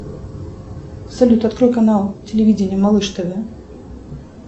салют открой канал телевидения малыш тв